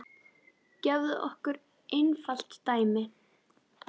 Gefum okkur einfalt dæmi.